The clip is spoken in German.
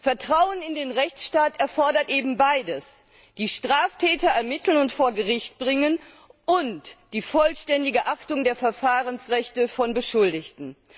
Vertrauen in den Rechtsstaat erfordert eben beides die Straftäter ermitteln und vor Gericht bringen und die vollständige Achtung der Verfahrensrechte von Beschuldigten.